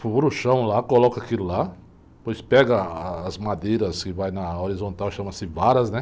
Fura o chão lá, coloca aquilo lá, depois pega as madeiras que vai na horizontal, chama-se varas, né?